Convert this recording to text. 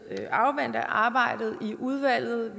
afvente arbejdet i udvalget